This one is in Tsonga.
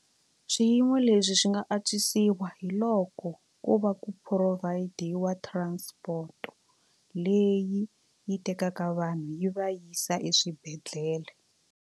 Swiyimo leswi swi nga antswisiwa hi loko ko va ku provide-iwa transport leyi yi tekaka vanhu yi va yisa eswibedhlele.